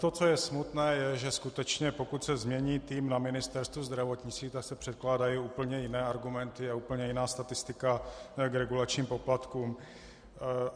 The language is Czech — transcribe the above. To, co je smutné, je, že skutečně pokud se změní tým na Ministerstvu zdravotnictví, tak se předkládají úplně jiné argumenty a úplně jiná statistika k regulačním poplatkům.